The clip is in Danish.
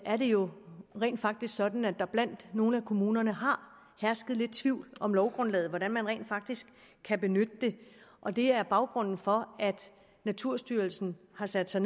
er det jo rent faktisk sådan at der blandt nogle af kommunerne har hersket lidt tvivl om lovgrundlaget hvordan man rent faktisk kan benytte det og det er baggrunden for at naturstyrelsen har sat sig